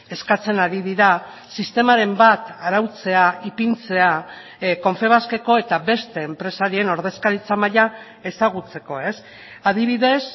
eskatzen ari dira sistemaren bat arautzea ipintzea confebaskeko eta beste enpresarien ordezkaritza maila ezagutzeko adibidez